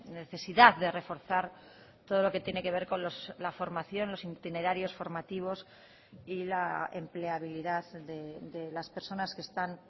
necesidad de reforzar todo lo que tiene que ver con la formación los itinerarios formativos y la empleabilidad de las personas que están